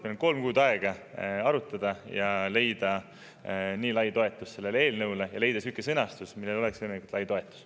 Meil on kolm kuud aega arutada ja leida eelnõule sihuke sõnastus, millel oleks võimalikult lai toetus.